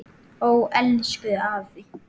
Ó, elsku afi.